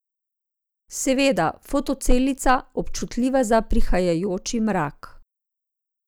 Seveda, fotocelica, občutljiva za prihajajoči mrak.